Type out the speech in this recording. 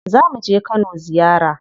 Zamu je Kano ziyara.